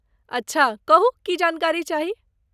अच्छा! कहू की जानकारी चाही?